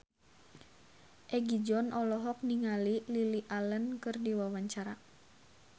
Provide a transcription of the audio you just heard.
Egi John olohok ningali Lily Allen keur diwawancara